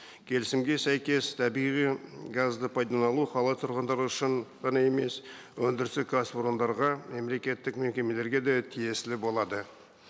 келісімге сәйкес табиғи газды пайдалану қала тұрғындары үшін ғана емес өндірістік кәсіпорындарға мемлекеттік мекемелерге де тиесілі болады